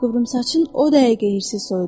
Qıvrımsaç o dəqiqə hirsi soyudu.